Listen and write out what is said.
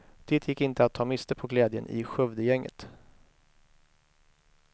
Det gick inte att ta miste på glädjen i skövdegänget.